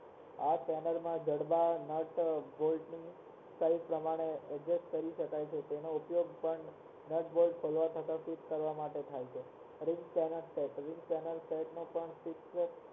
આ ચેનલ માં જડબા nut bolt તેણીએ સીઝે પ્રમાણે adjust કરી શકાય છે તેનો ઉપયોગ પણ nut bolt ખોલવા તથા ફિટ કરવા માટે થાય છે